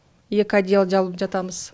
екі одеяло жабылып жатамыз